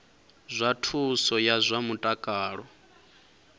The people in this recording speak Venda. zwa thuso ya zwa mutakalo